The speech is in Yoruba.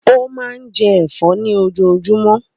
Ó máa ń jẹ ẹ̀fọ́ ní ojoojúmọ́.